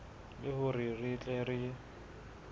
le hore re tle re